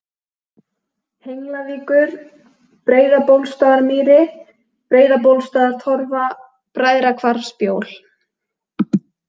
Henglavíkur, Breiðabólsstaðarmýri, Breiðabólsstaðartorfa, Bræðrahvarfsbjól